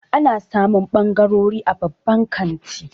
Ana samun ɓangarori a babban kanti.